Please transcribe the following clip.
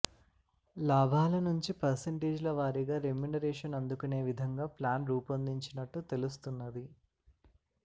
లాభాల నుంచి పర్సెంటేజ్ల వారీగా రెమ్యునరేషన్ అందుకొనే విధంగా ప్లాన్ రూపొందించినట్టు తెలుస్తున్నది